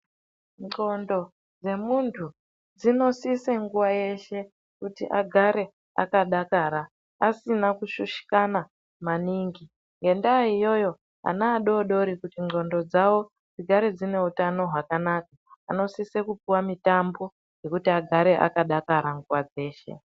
Ndxondo dzemuntu dzinosise nguva yeshe kuti agare akadakara, asina kushushikana maningi. Ngendaa iyoyo ana adoodori kuti ndxondo dzavo dzigare dzine utano hwakanaka, anosise kupuwa mitambo yekuti agare akadakara nguva dzeshe.